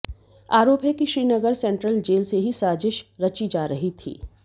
आरोप है कि श्रीनगर सेंट्रल जेल से ही साजिश रची जा रही थी